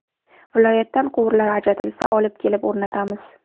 Viloyatdan quvurlar ajratilsa, olib kelib o‘rnatamiz.